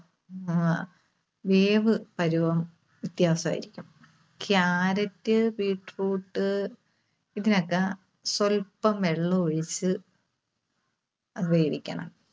അഹ് വേവ് പരുവം വ്യത്യാസവായിരിക്കും. Carrot, beetroot ഇതിനൊക്കെ സ്വൽപം വെള്ളമൊഴിച്ച് വേവിക്കണം.